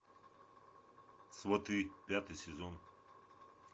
сваты пятый сезон